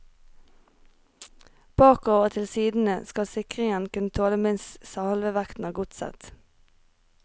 Bakover og til sidene skal sikringen kunne tåle minst halve vekten av godset.